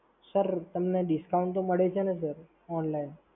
sir, તમને discount તો મળે છે ને Sir online.